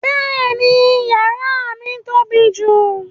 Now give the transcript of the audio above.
Bẹ́ẹ̀ni, yàrà mi tó bí jù.